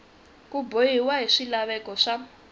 ku bohiwa hi swilaveko swa